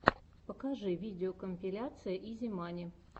покажи видеокомпиляция изи мани